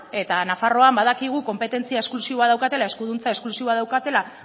eta nafarroan badakigu konpetentzia esklusiboa daukatela eskuduntza esklusiboa daukatela